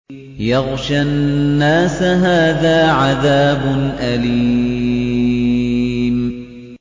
يَغْشَى النَّاسَ ۖ هَٰذَا عَذَابٌ أَلِيمٌ